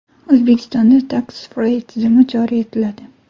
O‘zbekistonda Tax Free tizimi joriy etiladi.